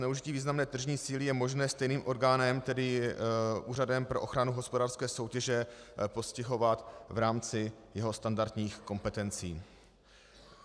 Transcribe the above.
Zneužití významné tržní síly je možné stejným orgánem, tedy Úřadem pro ochranu hospodářské soutěže, postihovat v rámci jeho standardních kompetencí.